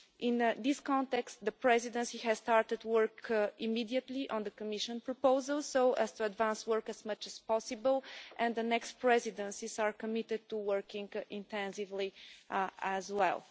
In this context, the Presidency has started work immediately on the Commission proposal so as to advance work as much as possible, and the next Presidencies are committed to working intensively as well.